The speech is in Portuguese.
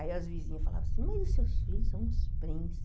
Aí as vizinhas falavam assim, mas os seus filhos são os príncipes.